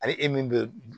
Ani e min bɛ